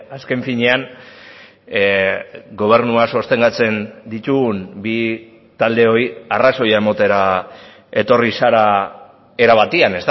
azken finean gobernua sostengatzen ditugun bi taldeoi arrazoia ematera etorri zara era batean